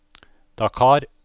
Dakar